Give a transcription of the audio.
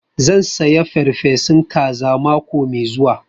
Zan saya farfesun kaza mako mai zuwa